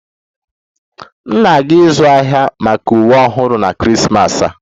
M na-aga ịzụ ahịa maka uwe ọhụrụ na Krismas a